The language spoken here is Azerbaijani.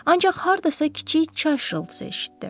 Ancaq hardasa kiçik çay şırıltısı eşitdi.